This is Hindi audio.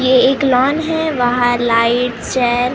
ये एक लॉन है वहाँ लाइट्स है।